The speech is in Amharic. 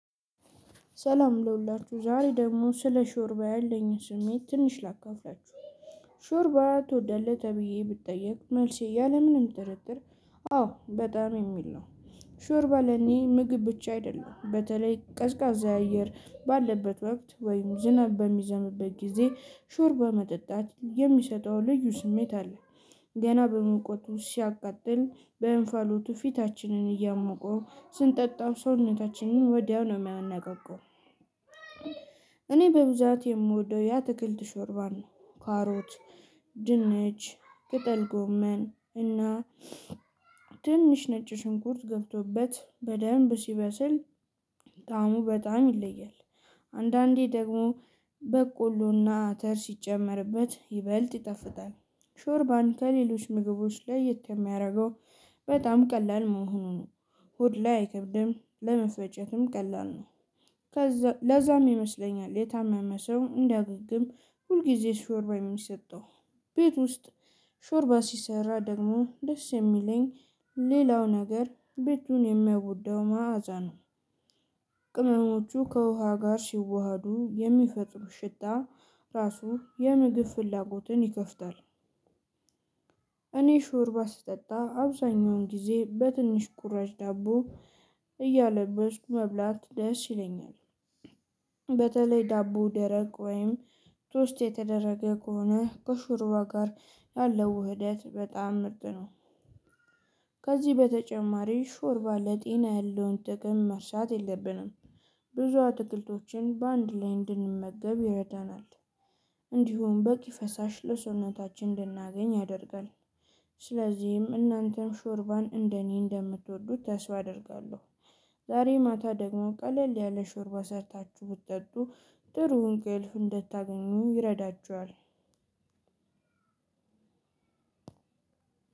ሰላም ለሁላችሁ ዛሬ ደግሞ ስለ ሾርባ ያለኝን ስሜት ትንሽ ላካፍላችሁ። ሾርባ ትወዳለህ ተብዬ ብትጠየቅ መልሴ ያለምንም ጥርጥር አው አዎ በጣም የሚል ነው። ሾርባ ለኔ ምግብ ብቻ አይደለም በተለይ ቀዝቃዛ አየር ባለበት ወቅት ወይም ዝናብ በሚዘምበት ጊዜ ሾርባ መጠጣት የሚሰጠው ልዩ ስሜት አለ። ገና በሙቀቱ ሲያቃጥል በእንፋሎቱ ፊታችንን እያሞቀው ስንጠጣ ሰውነታችንን ወዲያው ነው የሚያነቃቃው። እኔ በብዛት የምወደው የአትክልት ሾርባን ካሮት ድንች ቅጠል ጎመን እና ትንሽ ነጭ ሽንኩርት ገብቶበት በደንብ ሲበስል። ጣሙ በጣም ይለያል። አንዳንዴ ደግሞ በቆሎና አተር ሲጨመርበት ይበልጥ ይጣፍጣል። ሾርባን ከሌሎች ምግቦች ለየት የሚያደርገው በጣም ቀላል መሆኑ ነው። ሆድ ላይ አይከብድም ለመፈጨትም ቀላል ነው። ከዛ ለዛም ይመስለኛል የታመመ ሰው እንዲያገግም ሁልጊዜ ሾርባ የሚሰጠው። ቤት ውስጥ ሾርባ ሲሰራ ደግሞ ደስ የሚለኝ ሌላው ነገር ቤቱን የሚያውደው መዓዛ ነው። ቅመሞቹ ከውሃ ጋር ሲዋሃዱ የሚፈጥሩት ሽታ ራሱ የምግብ ፍላጎትን ይከፍታል። እኔ ሽርባ ስጠጣ አብዛኛውን ጊዜ በትንሽ ቁራጭ ዳቦ እያለበስኩ መብላት ደስ ይለኛል። በተለይ ዳቦ ደረቅ ወይም ቶስት የተደረገ ከሆነ ከሹሩባ ጋር ያለው ውህደት በጣም ምርጥ ነው። ከዚህ በተጨማሪ ሾርባ ለጤና ያለውን ጥቅም መርሳት የለብንም። ብዙ አትክልቶችን በአንድ ላይ እንድንመገብ ይረዳናል። እንዲሁም በቂ ፈሳሽ ለሰውነታችን እንድናገኝ ያደርጋል። ስለዚህም እናንተም ሾርባን እንደኔ እንደምትወዱት ተስፋ አደርጋለሁ። ዛሬ ማታ ደግሞ ቀለል ያለ ሾርባ ሰርታችሁ ብጠጡ ጥሩ እንቅልፍ እንድታገኙ ይረዳችኋል።